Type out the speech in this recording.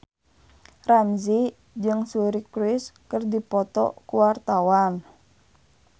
Ramzy jeung Suri Cruise keur dipoto ku wartawan